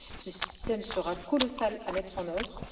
Ce système sera colossal à mettre en œuvre.